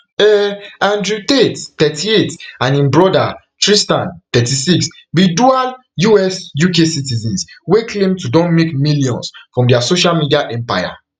um andrew tate thirty-eight and im brother tristan thirty-six be dual usuk citizens wey claim to don make millions from dia social media empire